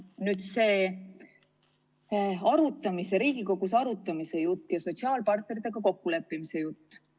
Nüüd sellest Riigikogus arutamise ja sotsiaalpartneritega kokkuleppimise jutust.